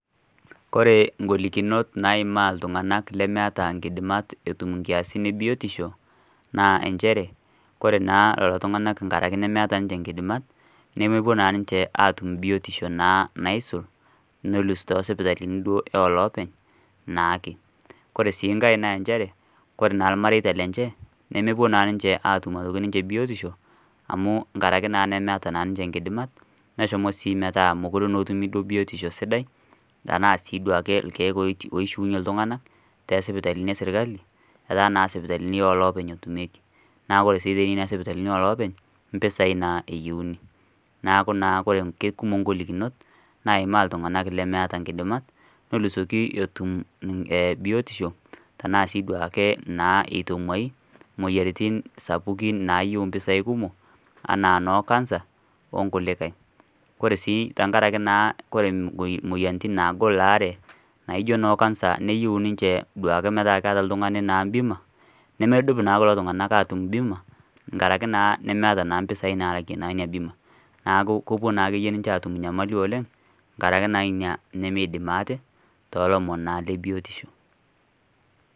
Kore ng'olikinot naimaa iltung'anak lemeeta nkidimat etum nkiasin e biotisho naa injere kore naa lelo tung'anak nkaraki nemeeta nje nkidimat nemepuo naa ninje aatum biotisho naa naisul neloos too sipitalini duo oolopeny naake. Kore sii nkae naa njere kore naa irmareita lenje, nemepuo naa atum aitoki ninje biotisho amu nkaraki naa nemeeta naa ninje nkidimat, neshomo sii metaa mekure naa etumi duo biotisho sidai enaa sii duake irkeek oiti oishiunye iltung'anak te sipitalini e serkali, netaa naa sipitalini oolopeny etumieki, naa ore sii te kuna sipitalini oo loopeny mpisai naa eyeuni. Neeku naa kekumok ng'olikinot naimaa iltung'anak lemeeta nkidimat nelusoki etum biotisho tenaa sii duake naa itong'uai moyiaritin sapukin naayiu mpisai kumok anaa noo kansa o nkulikai. Kore sii tenkaraki naa kore moy moyiaritin naagol laare naijo noo kansa niyiu ninje duake metaa keeta oltung'ani naa bima, nemedup naa kulo tung'anak aatum bima nkaraki naa nemeeta naa mpisai naalakie naa ina bima. Neeku kopou naa akeyie naa ninje aatum nyamali oleng' nkaraki naa nemiidim ate too lomon le biotisho.